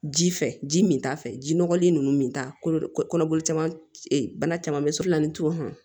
Ji fɛ ji min t'a fɛ ji nɔgɔlen ninnu min ta kolo kɔnɔ caman bana caman bɛ sugu la ni to